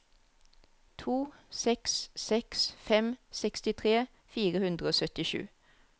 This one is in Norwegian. to seks seks fem sekstitre fire hundre og syttisju